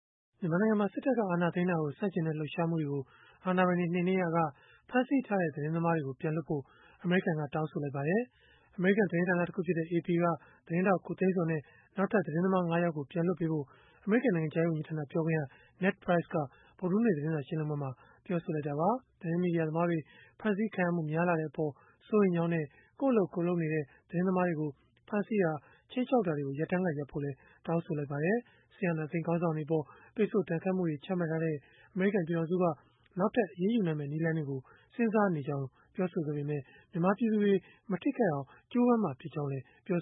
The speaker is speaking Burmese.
မြန်မာနိုင်ငံမှာ စစ်တပ်က အာဏာသိမ်းတာကို ဆန့်ကျင်တဲ့ လှုပ်ရှားမှုတွေကို အာဏာပိုင်တွေ နှိမ်နင်းရာက ဖမ်းဆီးထားတဲ့ သတင်းသမားတွေကို ပြန်လွှတ်ဖို့ အမေရိကန်က တောင်းဆိုလိုက်ပါတယ်။ အမေရိကန် သတင်းဌာနတခုဖြစ်တဲ့ AP သတင်းထောက် ကိုသိန်းဇော်နဲ့ နောက်ထပ်သတင်းသမား ၅ ယောက်ကို ပြန်လွှတ်ပေးဖို့ အမေရိကန် နိုင်ငံခြားရေး ဝန်ကြီးဌာန ပြောခွင့်ရ Ned Price က ဗုဒ္ဓဟူးနေ့ သတင်းစာရှင်းလင်းပွဲမှာ ပြောဆိုလိုက်တာပါ။ သတင်းမီဒီယာသမားတွေ ဖမ်းဆီးခံရမှု များလာတဲ့အပေါ် စိုးရိမ်ကြောင်းနဲ့ ကိုယ့်အလုပ်ကိုယ်လုပ်နေကြတဲ့ သတင်းသမားတွေကို ဖမ်းဆီးတာ ခြိမ်းခြောက်တာတွေကို ရပ်တန်းက ရပ်ဖို့လည်း တောင်းဆိုလိုက်ပါတယ်။ စစ်အာဏာသိမ်းခေါင်းဆောင်တွေအပေါ် ပိတ်ဆို့ဒဏ်ခတ်မှုတွေ ချမှတ်ထားတဲ့ အမေရိကန် ပြည်ထောင်စုက နောက်ထပ် အရေးယူနိုင်မယ့် နည်းလမ်းတွေကိုလည်း စဉ်းစားနေကြောင်း ပြောဆိုခဲ့ပေမဲ့၊ မြန်မာပြည်သူတွေ မထိခိုက်အောင် ကြိုးပမ်းမှာ ဖြစ်ကြောင်းလည်း ပြော